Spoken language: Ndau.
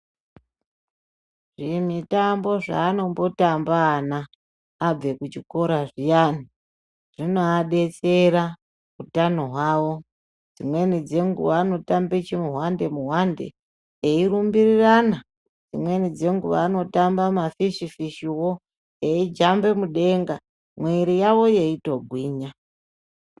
Zvimitambo zvaanombotamba ana abvekuchikora zviyani zvinoadetsera utano hwawo . Dzimweni dzenguwa anotamba chimuhwande muhwande eirumbirirana dzimweni dzenguwa anotamba mafishi fishiwo eijamba mudenga mwiri yawo yeitogwinya.